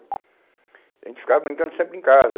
A gente ficava brincando sempre em casa.